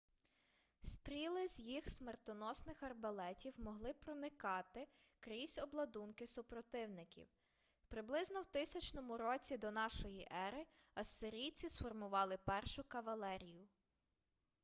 стріли з їх смертоносних арбалетів могли проникати крізь обладунки супротивників приблизно в 1000 році до нашої ери ассирійці сформували першу кавалерію